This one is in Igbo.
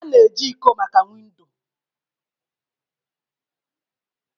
A na-eji iko maka windo